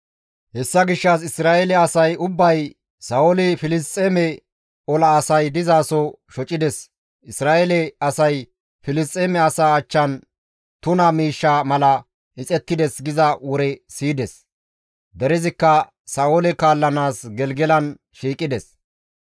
Hessa gishshas Isra7eele asay ubbay, «Sa7ooli Filisxeeme ola asay dizaso shocides; Isra7eele asay Filisxeeme asaa achchan tuna miishsha mala ixettides» giza wore siyides; derezikka Sa7oole kaallanaas Gelgelan shiiqides.